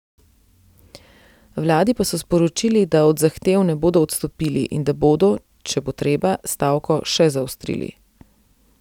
Vladi pa so sporočili, da od zahtev ne bodo odstopili in da bodo, če bo treba, stavko še zaostrili.